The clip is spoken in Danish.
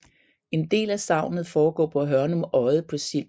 En del af sagnet foregår på Hørnum Odde på Sild